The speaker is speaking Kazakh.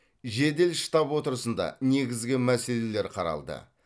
жедел штаб отырысында негізгі мәселелер қаралды